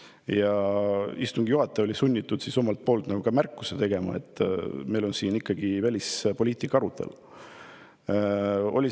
Siis oli istungi juhataja sunnitud tegema märkuse, et meil on siin ikkagi välispoliitika arutelu.